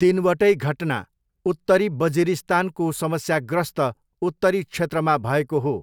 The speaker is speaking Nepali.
तिनवटै घटना उत्तरी बजिरिस्तानको समस्याग्रस्त उत्तरी क्षेत्रमा भएको हो।